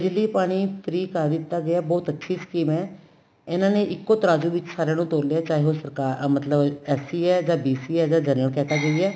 ਬਿਜਲੀ ਪਾਣੀ free ਕਰ ਦਿੱਤਾ ਗਿਆ ਬਹੁਤ ਅੱਛੀ scheme ਏ ਇਹਨਾ ਨੇ ਇੱਕੋ ਤਰਾਜੂ ਵਿੱਚ ਸਾਰੀਆਂ ਨੂੰ ਤੋਲਿਆ ਚਾਹੇ ਉਹ ਸਰਕਾਰ ਮਤਲਬ SC ਏ ਜਾਂ BC ਏ ਜਾਂ general category ਏ